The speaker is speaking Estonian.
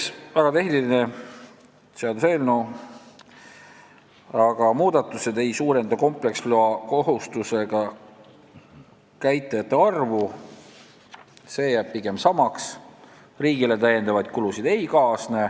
See on väga tehniline seaduseelnõu, aga muudatused ei suurenda kompleksloa kohustusega käitajate arvu, see jääb pigem samaks, ja riigile ei kaasne täiendavaid kulusid.